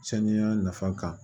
Saniya nafa kan